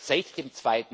Seit dem